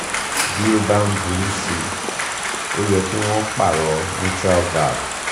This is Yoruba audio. bí ó bá ń burú sí i ó yẹ kí wọ́n pààrọ̀ mitral valve